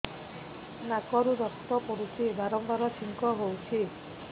ନାକରୁ ରକ୍ତ ପଡୁଛି ବାରମ୍ବାର ଛିଙ୍କ ହଉଚି